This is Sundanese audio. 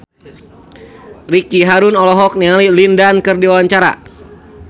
Ricky Harun olohok ningali Lin Dan keur diwawancara